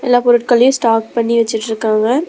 எல்லா பொருட்களையும் ஸ்டாக் பண்ணி வெச்சுட்ருக்காங்க.